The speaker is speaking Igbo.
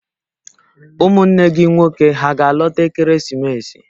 Ụmụnne gị nwoke hà ga-alọta ekeresimesi?